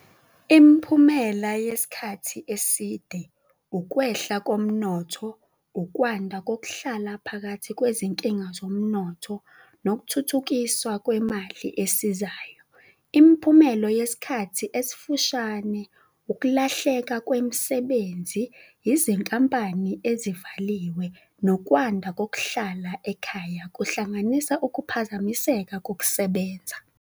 Imiphumela yesikhathi eside, ukwehla komnotho, ukwanda kokuhlala phakathi kwezinkinga zomnotho nokuthuthukiswa kwemali esizayo. Imiphumelo yesikhathi esifushane, ukulahleka kwemisebenzi, izinkampani ezivaliwe nokwanda kokuhlala ekhaya, kuhlanganisa ukuphazamiseka kokusebenza.